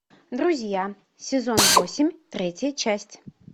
друзья сезон восемь третья часть